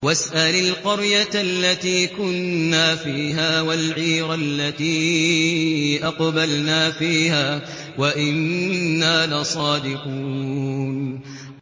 وَاسْأَلِ الْقَرْيَةَ الَّتِي كُنَّا فِيهَا وَالْعِيرَ الَّتِي أَقْبَلْنَا فِيهَا ۖ وَإِنَّا لَصَادِقُونَ